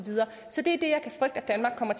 er